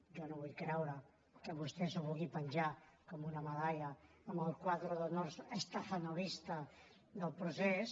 jo no vull creure que vostè s’ho vulgui penjar com una medalla en el quadre d’honors stakhanovista del procés